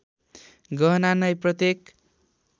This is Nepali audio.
गहना नै प्रत्येक